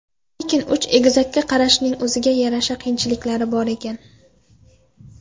Lekin uch egizakka qarashning o‘ziga yarasha qiyinchiliklari bor ekan.